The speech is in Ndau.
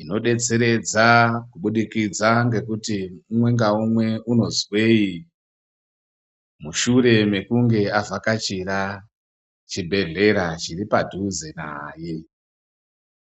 inodetseredza kubudikidza ngekuti umwe ngaumwe unozwei mushure mekunge avhakachira chibhedhlera chiri padhuze naye.